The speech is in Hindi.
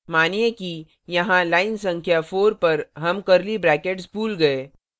मानिए कि यहाँ line संख्या 4 पर हम curly brackets भूल गए